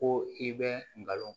Ko i bɛ nkalon